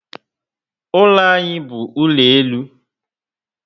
Ụlọ anyị bu ụlọ elu